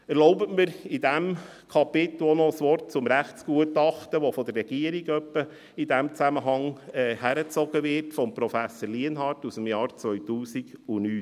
Erlauben Sie mir unter diesem Kapitel noch ein Wort zum Rechtsgutachten von Prof. Lienhard aus dem Jahre 2009, das in diesem Zusammenhang von der Regierung ab und an herangezogen wird.